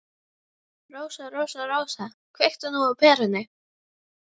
Rósa, Rósa, Rósa, kveiktu nú á perunni.